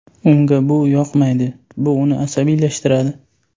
Unga bu yoqmaydi, bu uni asabiylashtiradi.